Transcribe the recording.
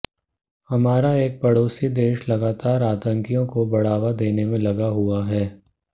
हमारा एक पड़ोसी देश लगातार आतंकियों को बढ़ावा देने में लगा हुआ है